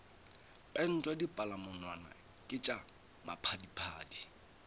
pentwa dipalamonwana ke tša maphadiphadi